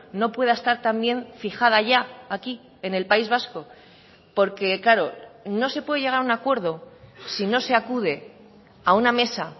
no pueda estar también fijada ya aquí en el país vasco porque claro no se puede llegar a un acuerdo si no se acude a una mesa